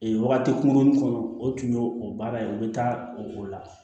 Ee wagati kunkurunin kɔnɔ o tun y'o o baara ye o bɛ taa o la